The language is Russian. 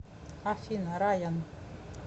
афина райан